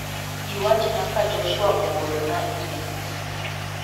Iwachna ka Joshua ooro na imel.